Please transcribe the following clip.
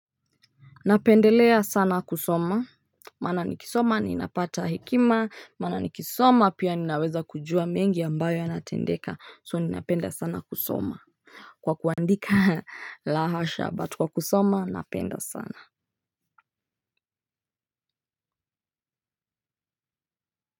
Napendelea sana kusoma, maana nikisoma ninapata hekima, maana nikisoma pia ninaweza kujua mengi ambayo yanatendeka so ninapenda sana kusoma kwa kuandika lahasha but kwa kusoma napenda sana.